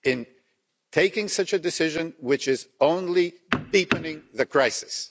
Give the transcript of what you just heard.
In taking such a decision, it is only deepening the crisis.